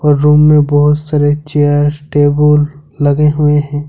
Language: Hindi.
और रूम में बहुत सारे चेयर टेबुल लगे हुए हैं।